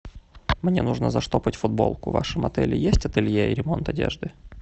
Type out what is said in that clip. мне нужно заштопать футболку в вашем отеле есть ателье и ремонт одежды